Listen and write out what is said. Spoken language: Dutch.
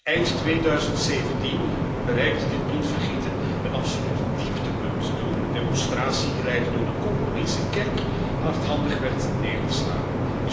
Eind 2017 bereikte dit bloedvergieten een absoluut dieptepunt, toen een demonstratie geleid door de Congolese kerk hardhandig werd neergeslagen.